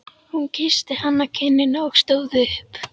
Hún kyssti hann á kinnina og stóð upp.